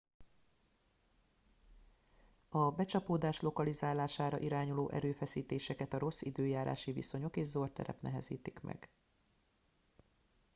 a becsapódás lokalizálására irányuló erőfeszítéseket a rossz időjárási viszonyok és zord terep nehezítik meg